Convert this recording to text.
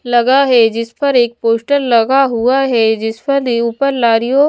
लगा है जिस पर एक पोस्टर लगा हुआ है जिसपर मे ऊपर लारियों--